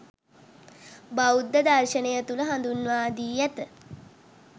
බෞද්ධ දර්ශනය තුළ හඳුන්වා දී ඇත.